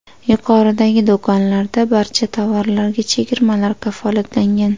Yuqoridagi do‘konlarda barcha tovarlarga chegirmalar kafolatlangan.